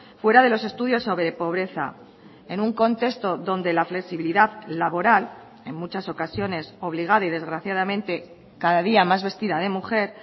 fuera de los estudios sobre pobreza en un contexto donde la flexibilidad laboral en muchas ocasiones obligada y desgraciadamente cada día más vestida de mujer